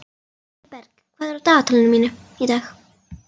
Vilberg, hvað er á dagatalinu mínu í dag?